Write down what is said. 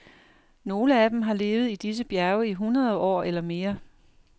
Nogle af dem har levet i disse bjerge i hundrede år eller mere.